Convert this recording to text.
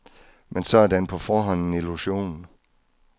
Men så er den på forhånd en illusion.